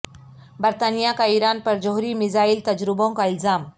برطانیہ کا ایران پر جوہری میزائل تجربوں کا الزام